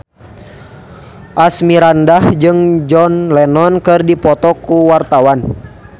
Asmirandah jeung John Lennon keur dipoto ku wartawan